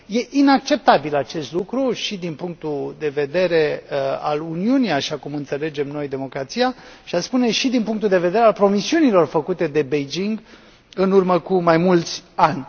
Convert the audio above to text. E inacceptabil acest lucru și, din punctul de vedere al Uniunii, așa cum înțelegem noi democrația și aș spune și din punctul de vedere al promisiunilor făcute de Beijing în urmă cu mai mulți ani.